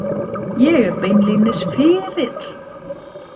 Ég er beinlínis fyrir.